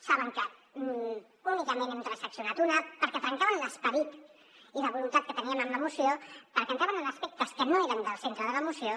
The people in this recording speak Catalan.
saben que únicament n’hem transaccionat una perquè trencaven l’esperit i la voluntat que teníem en la moció perquè entraven en aspectes que no eren del centre de la moció